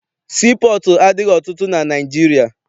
Sii pọọtụ adịghị ọtụtụ na Naịjirịa.